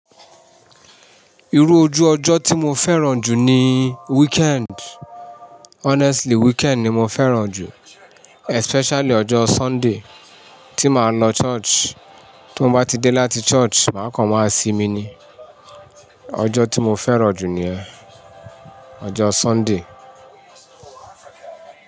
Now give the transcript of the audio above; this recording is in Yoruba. Irú ojú ọjọ́ tí mo fẹ́ràn jù ni weekend. Honestly, weekend ni mo fẹ́ràn jù. Especially ọjọ́ Sunday tí màá lọ church. Tí mo bá ti dé láti church, màá kàn máa ṣí mi ni. Ọjọ́ tí mo fẹ́ràn jù ni yẹn. Ọjọ́ Sunday.